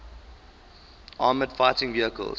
armored fighting vehicles